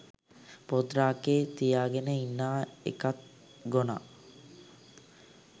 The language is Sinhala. පොත් රාක්කේ තියාගෙන ඉන්නා එකත් ගොනා.